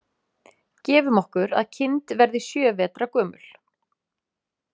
Gefum okkur að kind verði sjö vetra gömul.